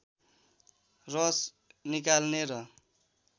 रस निकाल्ने र